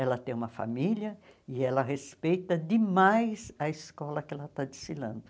Ela tem uma família e ela respeita demais a escola que ela está desfilando.